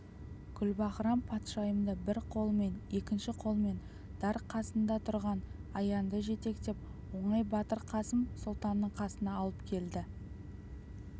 гүлбаһрам-патшайымды бір қолымен екінші қолымен дар қасында тұрған аянды жетектеп оңай батыр қасым сұлтанның қасына алып келді